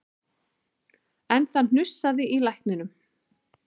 En það hnussaði í lækninum